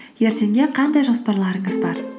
ертеңге қандай жоспарларыңыз бар